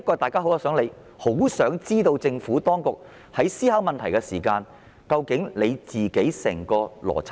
大家其實很想知道政府當局在思考問題時的整個邏輯。